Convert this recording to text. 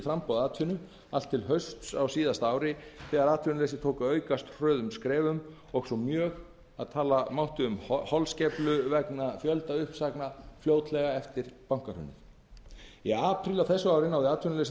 framboð atvinnu allt til hausts á síðasta ári þegar atvinnuleysi tók að aukast hröðum skrefum og svo mjög að tala mátti um holskeflu vegna fjöldauppsagna fljótlega eftir bankahrunið í apríl á þessu ári náði atvinnuleysið